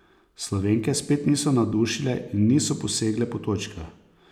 Slovenke spet niso navdušile in niso posegle po točkah.